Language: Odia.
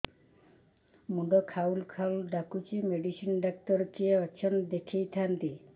ମୁଣ୍ଡ ଖାଉଲ୍ ଖାଉଲ୍ ଡାକୁଚି ମେଡିସିନ ଡାକ୍ତର କିଏ ଅଛନ୍ ଦେଖେଇ ଥାନ୍ତି